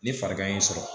Ni farikan y'i sɔrɔ